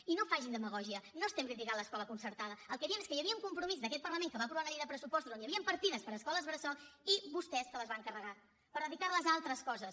i no facin demagògia no estem criticant l’escola concertada el que diem és que hi havia un compromís d’aquest parlament que va aprovar una llei de pressupostos on hi havien partides per a escoles bressol i vostès se les van carregar per dedicar les a altres coses